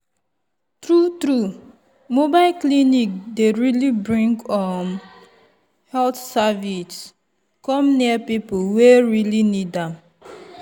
true true mobile clinic dey really bring um health service come near people wey really need am.